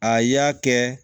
A y'a kɛ